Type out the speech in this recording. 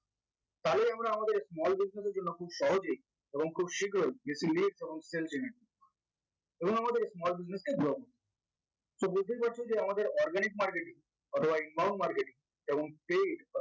তাহলেই আমরা আমাদের small discuss এর জন্য খুব সহজেই এবং খুব শীঘ্রই এবং আমাদের small business এ job so বুঝতেই পারছ যে আমাদের organic marketing অথবা inbound marketing এবং paid